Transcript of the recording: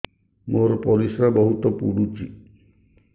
ମୋର ପରିସ୍ରା ବହୁତ ପୁଡୁଚି